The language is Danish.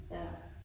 Ja